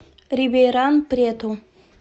рибейран прету